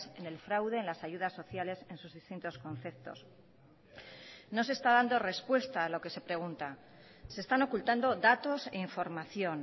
en el fraude en las ayudas sociales en sus distintos conceptos no se está dando respuesta a lo que se pregunta se están ocultando datos e información